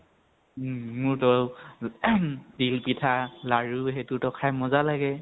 উম । মোৰতো, তিল পিঠা লাৰু সেইতো খাই মজা লাগে